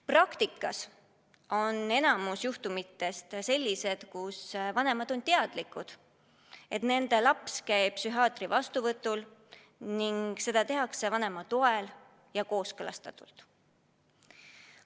Praktikas on enamik juhtumitest sellised, kus vanemad on teadlikud, et nende laps käib psühhiaatri vastuvõtul, ning seda tehakse vanema toel ja kooskõlastatult.